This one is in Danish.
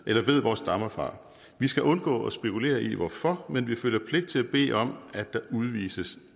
eller ved hvor stammer fra vi skal undgå at spekulere i hvorfor men vi føler pligt til at bede om at der udvises